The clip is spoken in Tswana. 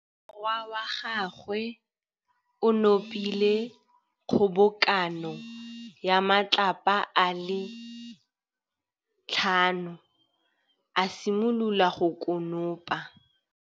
Morwa wa gagwe o nopile kgobokanô ya matlapa a le tlhano, a simolola go konopa.